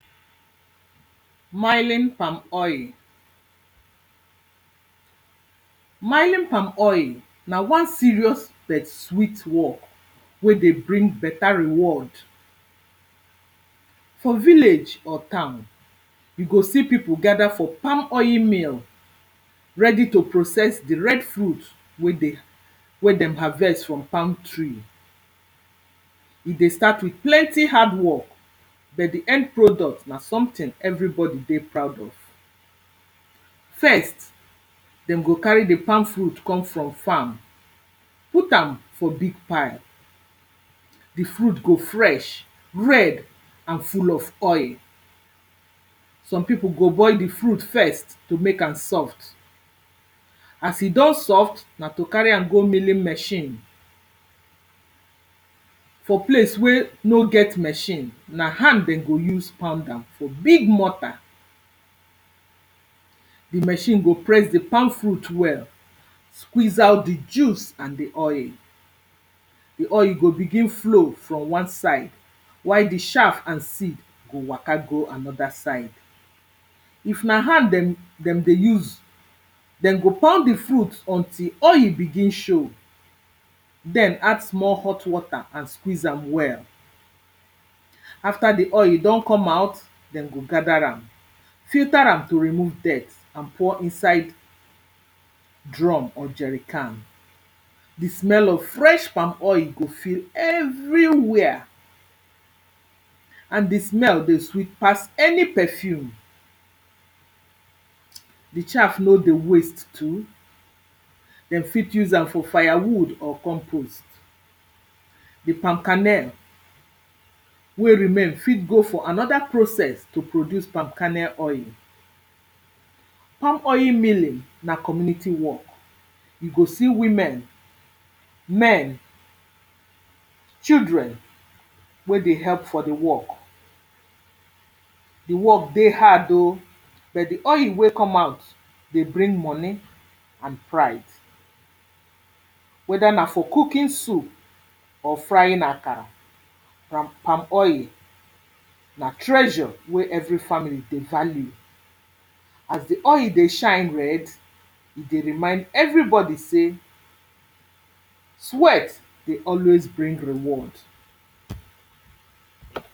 mining palmoil. Mining palmoil na one serious bet sweet work wey dey bring beta reward. For village or town, you see pipo gather for palmoil mill ready to process the red fruit wey dey wey dey harvest from palm tree. E dey start with plenty hardwork bet the end product, na something everybody dey proud of. dem go carry the palm fruit come from farm put am for big pile. The fruit go fresh, red and full of oil. Some pipo go boil the fruit first to make am soft As e don soft, na to carry am go milling machine. For place wey no get milling machine, na hand dem go use pound am for big mortar. The machine go press the palmfruit well, squeeze out the juice and the oil. The oil go begin flow from one side while the shaff and seed go waka go another side. If na hand dem dem dey use, dem go turn the fruit until oil begin show then add small hot water and squeeze am well. After the oil don come out, dem go gather am, filter am to remove dirt and pour inside drum or jerican. The smell of fresh palmoil go fill everywhere and the smell dey sweet pass any perfume. The chaff no dey waste too dem fit use am for firewood or compost. The palm kernel wey remain fit go for another process to produce palm kernel oil. Palmoil milling na community work. You go see women, men, children, wey dey help for the work. The work dey hard o but the oil wey come out dey bring money and pride. Whether na for cooking soup, or frying akara. Palmoil na treasure wey every family dey value. As the oil dey shine red, dey remind everybody say sweat dey always bring reward.